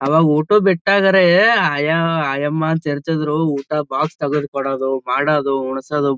ಅವಾಗ ಊಟಕ ಬಿಟ್ಟಗರೆ ಆಯ ಆಯಮ್ಮಾ ಅಂತ ಇರತಿದ್ರು ಊಟದ ಬಾಕ್ಸ ತೆಗ್ದ್ ಕೊಡೋದು ಮಾಡೋದು ಉಣಸೊದು--